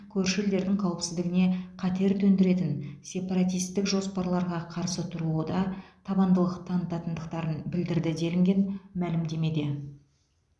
көрші елдердің қауіпсіздігіне қатер төндіретін сепаратистік жоспарларға қарсы тұруда табандылық танытатындықтарын білдірді делінген мәлімдемеде